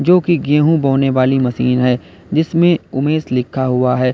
क्योंकि गेहूं बोने वाली मशीन है जिसमें उमेश लिखा हुआ है।